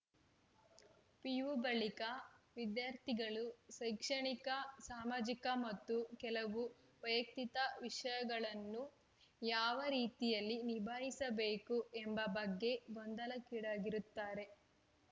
PU ಬಳಿಕ ವಿದ್ಯಾರ್ಥಿಗಳು ಶೈಕ್ಷಣಿಕ ಸಾಮಾಜಿಕ ಮತ್ತು ಕೆಲವು ವೈಯಕ್ತಿಕ ವಿಷಯಗಳನ್ನು ಯಾವ ರೀತಿಯಲ್ಲಿ ನಿಭಾಯಿಸಬೇಕು ಎಂಬ ಬಗ್ಗೆ ಗೊಂದಲಕ್ಕೀಡಾಗಿರುತ್ತಾರೆ